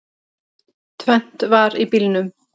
Tvennt var í bílunum.